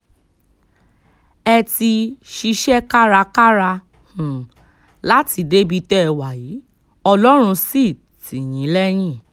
ẹ ti ṣiṣẹ́ kárakára um láti débi tẹ́ ẹ wà yìí ọlọ́run sì tì um yín lẹ́yìn